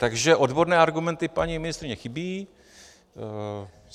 Takže odborné argumenty paní ministryně chybí.